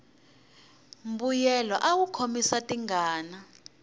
mbuyelo awu khomisa tingana